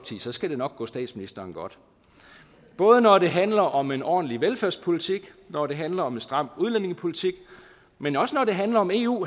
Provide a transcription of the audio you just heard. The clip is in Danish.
så skal det nok gå statsministeren godt både når det handler om en ordentlig velfærdspolitik når det handler om en stram udlændingepolitik men også når det handler om eu